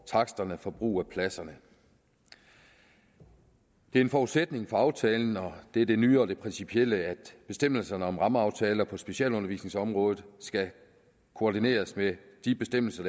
taksterne for brugen af pladserne det er en forudsætning for aftalen og det er det nye og det principielle at de bestemmelser der er om rammeaftaler på specialundervisningsområdet skal koordineres med de bestemmelser